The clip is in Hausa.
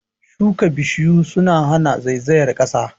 Shuka Bishiyu suna hana zaizayar ƙasa